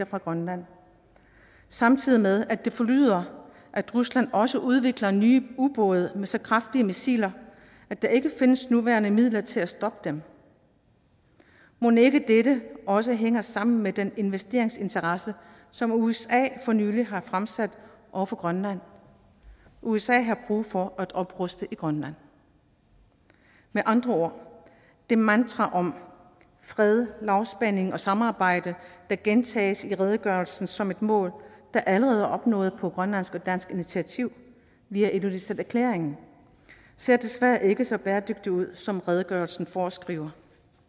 fra grønland samtidig med at det forlyder at rusland også udvikler nye ubåde med så kraftige missiler at der ikke findes nuværende midler til at stoppe dem mon ikke dette også hænger sammen med den investeringsinteresse som usa for nylig har fremsat over for grønland usa har brug for at opruste i grønland med andre ord det mantra om fred lavspænding og samarbejde der gentages i redegørelsen som et mål der allerede er opnået på grønlandsk og dansk initiativ via ilulissaterklæringen ser desværre ikke så bæredygtigt ud som redegørelsen foreskriver